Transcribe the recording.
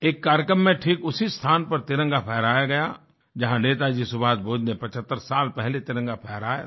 एक कार्यक्रम में ठीक उसी स्थान पर तिरंगा फहराया गया जहां नेताजी सुभाष बोस ने 75 साल पहले तिरंगा फहराया था